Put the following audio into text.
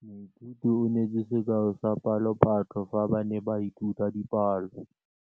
Moithuti o neetse sekaô sa palophatlo fa ba ne ba ithuta dipalo.